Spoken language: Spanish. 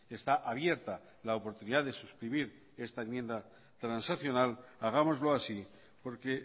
está abierta la oportunidad de suscribir esta enmienda transaccional hagámoslo así porque